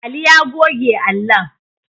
Ali ya goge allon